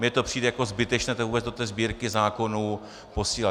Mně to přijde jako zbytečné to vůbec do té Sbírky zákonů posílat.